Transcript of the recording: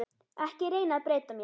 Ekki reyna að breyta mér.